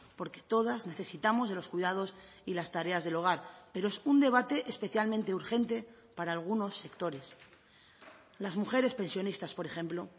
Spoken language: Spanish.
porque todas necesitamos de los cuidados y las tareas del hogar pero es un debate especialmente urgente para algunos sectores las mujeres pensionistas por ejemplo